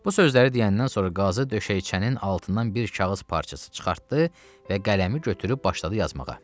Bu sözləri deyəndən sonra qazı döşəyiçənin altından bir kağız parçası çıxartdı və qələmi götürüb başladı yazmağa.